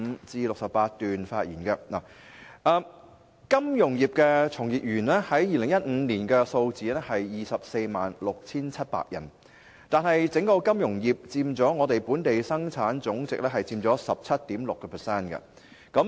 在2015年，金融業從業員人數為 246,700 人，但金融業整體佔本地生產總值 17.6%。